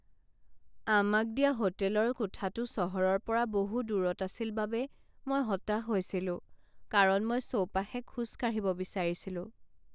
আমাক দিয়া হোটেলৰ কোঠাটো চহৰৰ পৰা বহু দূৰত আছিল বাবে মই হতাশ হৈছিলোঁ কাৰণ মই চৌপাশে খোজ কাঢ়িব বিচাৰিছিলো।